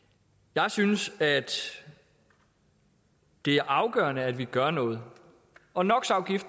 jeg synes at det er afgørende at vi gør noget og no